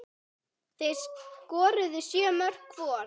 Þeir skoruðu sjö mörk hvor.